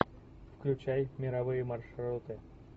включай мировые маршруты